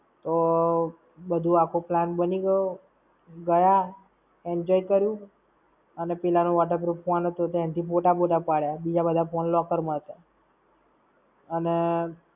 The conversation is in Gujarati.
તો, બધું આખો plan બની ગયો, ગયા, enjoy કર્યું! અને પેલા નો waterproof ફોન હતો, તેનથી photo બોટા પડ્યા! બીજા બધા ફોન locker માં હતા. અને